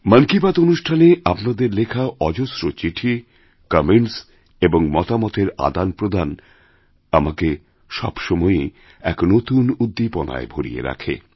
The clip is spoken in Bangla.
মন কি বাত অনুষ্ঠানে আপনাদের লেখা অজস্র চিঠি কমেন্টস এবং মতামতেরআদানপ্রদান আমাকে সবসময়েই এক নতুন উদ্দীপনায় ভরিয়ে রাখে